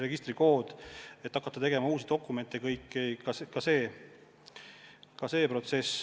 Nii pole vaja hakata tegema uusi dokumente.